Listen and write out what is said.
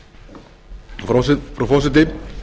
frú forseti ég mæli